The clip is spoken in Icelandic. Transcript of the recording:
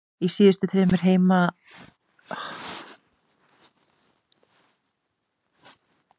Í síðustu þremur heimaleikjum hafa þeir fengið fjögur víti.